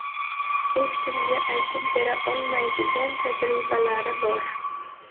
hech kimga aytib bera olmaydigan tajribalari bor.